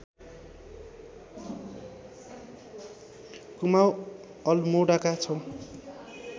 कुमाउँ अल्मोडाका छौँ